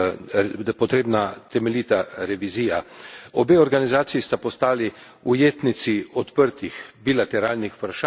Obe organizaciji sta postali ujetnici odprtih bilateralnih vprašanj in geostrateških interesov.